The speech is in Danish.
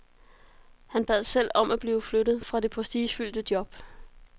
Han bad selv om at blive flyttet fra det prestigefyldte job.